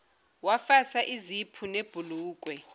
wafasa uziphu webhulukwe